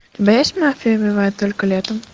у тебя есть мафия убивает только летом